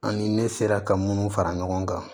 An ni ne sera ka munnu fara ɲɔgɔn kan